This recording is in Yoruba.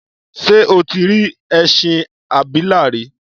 Ṣé o tí rí ẹṣin abìlà rí?